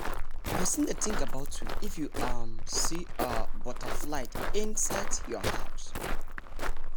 person dey think about you if you um see um butterfly i side your house